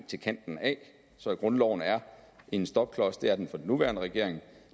til kanten af så grundloven er en stopklods det er den for den nuværende regering